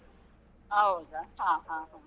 ಹೌದ, ಹ ಹ ಹ.